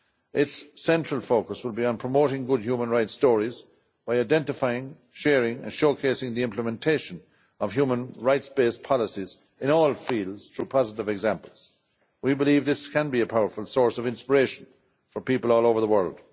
Its central focus will be on promoting good human rights stories by identifying, sharing and showcasing the implementation of human rights based policies in all fields through positive examples. We believe this can be a powerful source of inspiration for people all over the world.